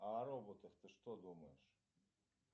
а о роботах ты что думаешь